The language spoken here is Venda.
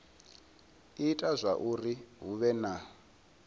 ita zwauri hu vhe na